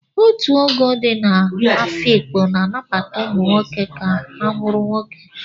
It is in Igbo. Ọtu ogoo di na afikpo na-anabata ụmụ nwoke ka ha bụrụ nwoke.